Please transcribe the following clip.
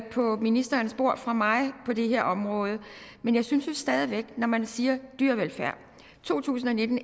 på ministerens bord fra mig på det her område men jeg synes stadig væk når man siger dyrevelfærd i to tusind og nitten